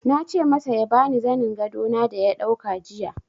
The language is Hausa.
Na ce masa ya ba ni zanin gado na da ya dauka jiya.